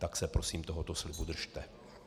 Tak se prosím tohoto slibu držte.